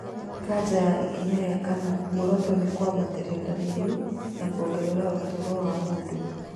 Kanja ya ikinya rĩa kana, muoroto nĩ mwambatĩria dariri na kuongerera ũtũro wa mũndũ